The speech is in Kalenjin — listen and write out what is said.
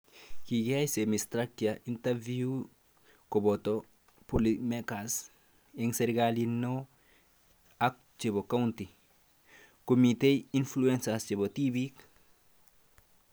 Kikiyai semi -structured interviews koboto policymakers (eng serikalit neoo ak chebo county ) komitei influencers chebo tibiik